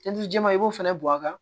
jɛman i b'o fana bɔn a kan